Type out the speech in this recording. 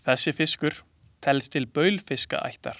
Þessi fiskur telst til baulfiskaættar.